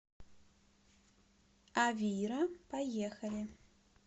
авира поехали